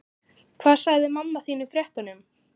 Hvað sagði mamma þín í fréttum?